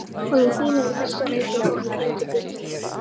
Honum hlýnaði um hjartarætur og hann hringdi bjöllunni.